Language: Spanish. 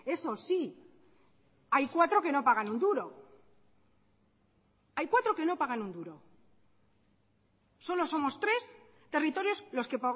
eso sí hay cuatro que no pagan un duro hay cuatro que no pagan un duro solo somos tres territorios los que